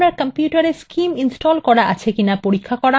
আপনার কম্পিউটারে scim install করা রয়েছে কিনা পরীক্ষা করা